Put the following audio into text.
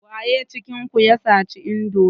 Waye cikin ku ya saci indomi?